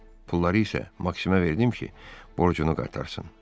Pulları isə Maksimə verdim ki, borcunu qaytarsın.